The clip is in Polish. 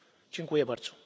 Dziękuję bardzo